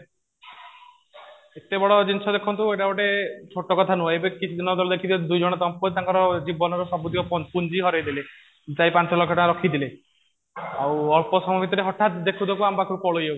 ଏତେ ବଡ଼ ଜିନିଷ ଦେଖନ୍ତୁ ଏଇଟା ଗୋଟେ ଛୋଟ କଥା ନୁହଁ ଏବେ କିଛି ଦିନ ତଳେ ଦେଖିବେ ଦୁଇ ଜଣ ଦମ୍ପତି ତାଙ୍କର ଜୀବନର ସବୁତକ ପୁଞ୍ଜି ହରେଇ ଦେଲେ ଚାରି ପାଞ୍ଚ ଲକ୍ଷ ଟଙ୍କା ରଖିଥିଲେ ଆଉ ଅଳ୍ପ ସମୟ ଭିତରେ ହଟାତ ଦେଖୁ ଦେଖୁ ଆମ ପାଖରୁ ପଳେଇଯାଉଛି